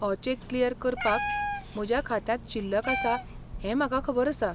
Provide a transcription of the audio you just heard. हो check clear करपाक म्हज्या खात्यांत शिल्लक आसा हें म्हाका खबर आसा.